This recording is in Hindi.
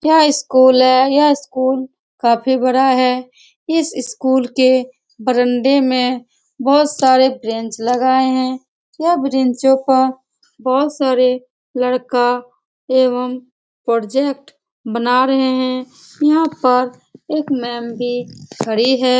यह स्कूल है यह स्कूल काफी बड़ा है इस स्कूल के वरंडे में बहुत सारे ब्रेंच लगाए है यह ब्रेंचों पे बहुत सारे लड़का एवम प्रोजेक्ट बना रहे है यहाँ पर एक मेम भी खड़ी --